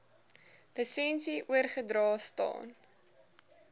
lisensie oorgedra staan